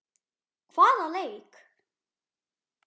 Hvaða leik?